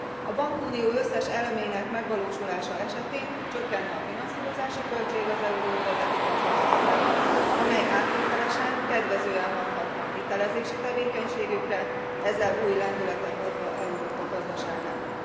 A bankunió összes elemének megvalósulása esetén csökkenne a finanszírozási költség az euróövezeti bankok számára, ami áttételesen kedvezően hathatna a hitelezési tevékenységükre, ezzel új lendületet adva Európa gazdaságának.